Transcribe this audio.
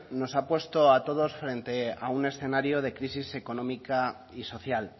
nos ha puesto a todos frente a un escenario de crisis económica y social